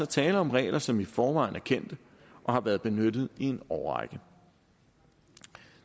tale om regler som i forvejen er kendte og har været benyttet i en årrække